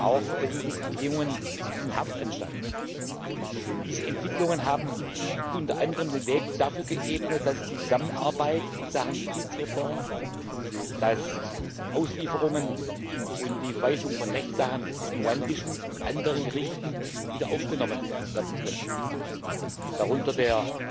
Auch verbessern sich die Bedingungen in den Haftanstalten. Diese Entwicklungen haben unter anderem den Weg dafür geebnet, dass die Zusammenarbeit in Sachen Justizreform, dass Auslieferungen und die Verweisung von Rechtssachen zwischen ruandischen und anderen Gerichten wiederaufgenommen werden können, darunter der